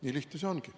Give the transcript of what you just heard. Nii lihtne see ongi.